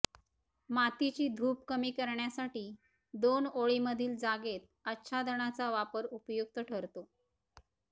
मातीची धूप कमी करण्यासाठी दोन ओळींमधील जागेत आच्छादनाचा वापर उपयुक्त ठरतो